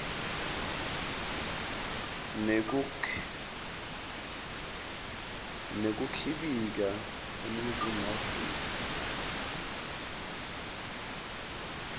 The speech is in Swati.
nekukhibika eningizimu afrika